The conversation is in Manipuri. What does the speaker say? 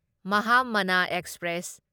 ꯃꯍꯥꯃꯥꯅꯥ ꯑꯦꯛꯁꯄ꯭ꯔꯦꯁ